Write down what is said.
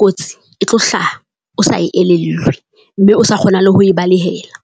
kotsi e tlo hlaha. O sa e elellwe mme o sa kgona le ho e balehela.